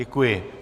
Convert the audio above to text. Dděkuji.